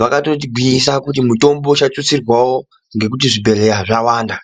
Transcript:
Vakatotigwinyisa kuti mutombo uchatutsirwawo ngekuti zvibhedhlera zvawanda.